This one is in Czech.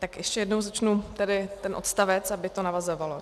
Tak ještě jednou začnu tedy ten odstavec, aby to navazovalo.